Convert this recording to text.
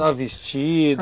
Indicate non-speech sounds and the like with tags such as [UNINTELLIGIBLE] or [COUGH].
[UNINTELLIGIBLE] vestido.